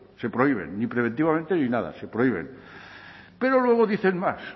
se prohíben ni preventivamente ni nada se prohíben pero luego dicen más